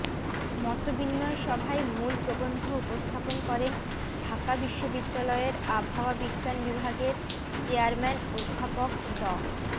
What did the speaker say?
মতবিনিময় সভায় মূল প্রবন্ধ উপস্থাপন করেন ঢাকা বিশ্ববিদ্যালয়ের আবহাওয়া বিজ্ঞান বিভাগের চেয়ারম্যান অধ্যাপক ড